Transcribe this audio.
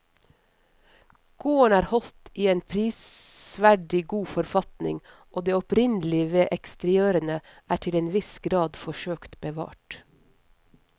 Gården er holdt i en prisverdig god forfatning og det opprinnelige ved eksteriørene er til en viss grad forsøkt bevart.